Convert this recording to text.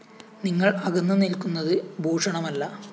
നിങ്ങള്‍ അകന്ന് നില്‍ക്കുന്നത് ഭൂഷണമല്ല